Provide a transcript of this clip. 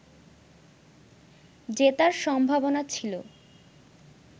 জেতার সম্ভাবনা ছিল